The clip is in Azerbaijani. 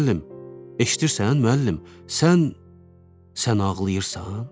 Müəllim, eşidirsən, müəllim, sən sən ağlayırsan?